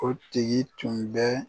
O tigi tun bɛ